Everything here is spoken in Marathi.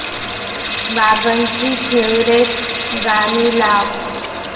बाबांची फेवरिट गाणी लाव